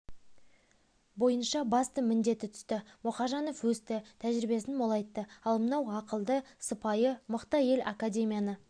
бойынша басты міндеті түсті мұхажанов өсті тәжірибесін молайтты ал мынау ақылды сыпайы мықты әйел академияны